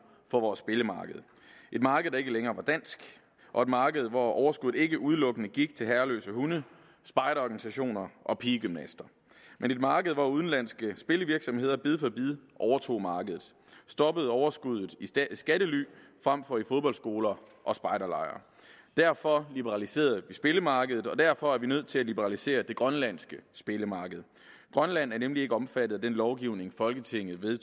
for vores spillemarked et marked der ikke længere var dansk og et marked hvor overskuddet ikke udelukkende gik til herreløse hunde spejderorganisationer og pigegymnaster men et marked hvor udenlandske spillevirksomheder bid for bid overtog markedet og stoppede overskuddet i skattely frem for i fodboldskoler og spejderlejre derfor liberaliserede vi spillemarkedet og derfor er vi nødt til at liberalisere det grønlandske spillemarked grønland er nemlig ikke omfattet af den lovgivning folketinget